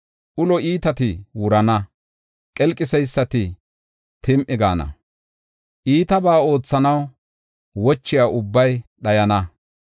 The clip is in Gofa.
Ulo iitati wurana; qelqiseysati tim7i gaana; iitabaa oothanaw wochiya ubbay dhayana.